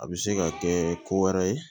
A bɛ se ka kɛ ko wɛrɛ ye